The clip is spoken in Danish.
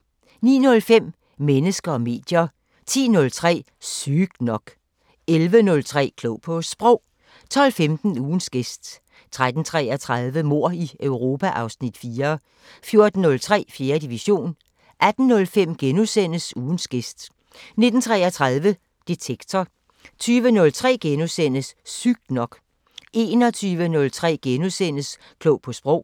09:05: Mennesker og medier 10:03: Sygt nok 11:03: Klog på Sprog 12:15: Ugens gæst 13:33: Mord i Europa (Afs. 4) 14:03: 4. division 18:05: Ugens gæst * 19:33: Detektor 20:03: Sygt nok * 21:03: Klog på Sprog *